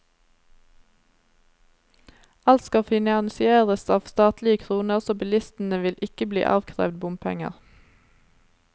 Alt skal finansieres av statlige kroner, så bilistene vil ikke bli avkrevd bompenger.